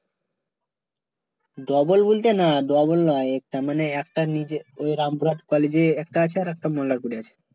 double বলতে না double নয় তার মানে একটার নিচে ওই রামপুর collage এ একটা আছে আরেকটা মল্লারপুর এ আছে